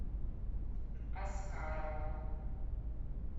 аскарова